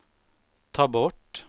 ta bort